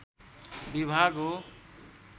विभाग हो